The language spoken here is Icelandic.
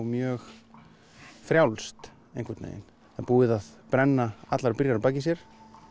mjög frjálst einhvern veginn það er búið að brenna allar brýr að baki sér